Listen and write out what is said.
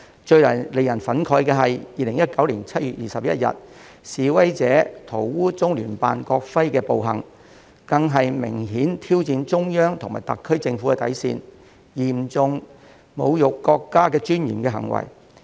最令人憤慨的是 ，2019 年7月21日示威者塗污中聯辦國徽的暴行，更是明顯挑戰中央及特區政府底線、嚴重侮辱國家尊嚴的行為。